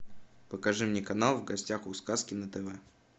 покажи мне канал в гостях у сказки на тв